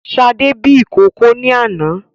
Sadé bí ìkókó ni àná